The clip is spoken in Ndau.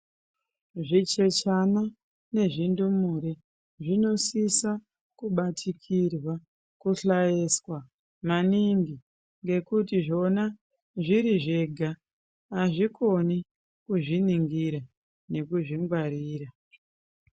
Zvichechana nezvindumure zvinosisa kubatikirwa kuhlayiswa maningi ngekuti zvona zviri zvega azvikoni kuzviningira nekuzvingwarira.